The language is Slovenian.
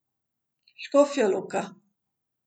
Škofja Loka.